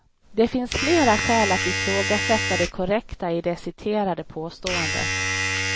Det finns flera skäl att ifrågasätta det korrekta i det citerade påståendet.